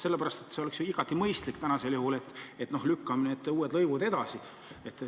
Sellepärast, et see oleks ju igati mõistlik tänasel juhul, et lükkame need uued lõivud edasi.